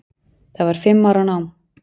Það var fimm ára nám.